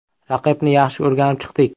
Raqibni yaxshi o‘rganib chiqdik.